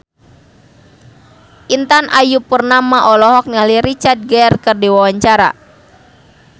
Intan Ayu Purnama olohok ningali Richard Gere keur diwawancara